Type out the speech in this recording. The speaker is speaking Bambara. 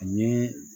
Ani